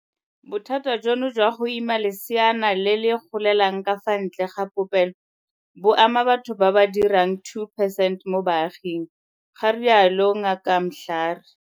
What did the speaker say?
"Bothata jono jwa go ima leseana le le golelang ka fa ntle ga popelo bo ama batho ba ba ka dirang 2 percent mo baaging," ga rialo Ngaka Mhlari.